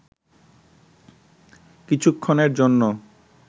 কিছুক্ষণের জন্য